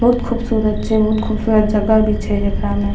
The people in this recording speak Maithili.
बहुत खूबसूरत छै बहुत खूबसूरत जगह भी छै जेकरा में --